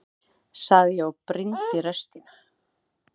sagði ég og brýndi raustina.